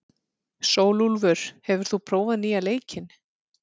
Sólúlfur, hefur þú prófað nýja leikinn?